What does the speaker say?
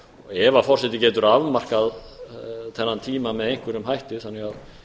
ef forseti getur afmarkað þennan tíma með einhverjum hætti þannig að